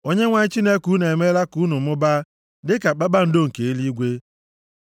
Onyenwe anyị Chineke unu emeela ka unu mụbaa dịka kpakpando nke eluigwe.